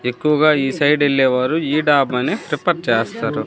ఎక్కువగా ఈ సైడ్ ఎల్లేవారు ఈ డాబా నే ప్రిపర్ చేస్తారు.